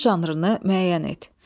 Əsərin janrını müəyyən et.